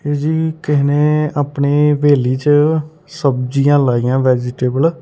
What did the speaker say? ਜਿਹਕੇ ਨੇਂ ਆਪਣੀ ਹਵੇਲੀ ਚ ਸਬਜੀਆਂ ਲਾਈਆਂ ਵੈਜੀਟੇਬਲ ।